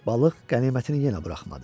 Balıq qənimətini yenə buraxmadı.